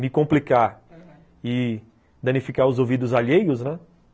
Me complicar e danificar os ouvidos alheios, né?